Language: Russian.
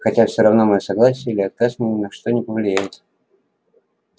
хотя все равно моё согласие или отказ мой ни на что не повлияет